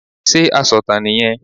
Sé asọ̀tàn nì yẹn